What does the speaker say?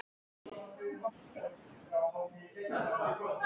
Háskóla Íslands og rektor en seinast hæstaréttardómari.